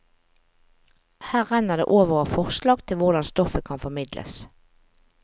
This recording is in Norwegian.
Her renner det over av forslag til hvordan stoffet kan formidles.